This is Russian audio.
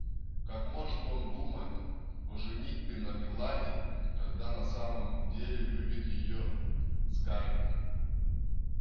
как может он думать о женитьбе на мелани когда на самом деле любит её скарлетт